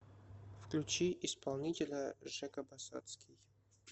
включи исполнителя жека басотский